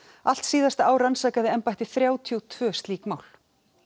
allt síðasta ár rannsakaði embættið þrjátíu og tvö slík mál